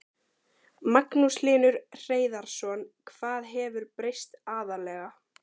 Magnús Hlynur Hreiðarsson: Hvað hefur breyst aðallega?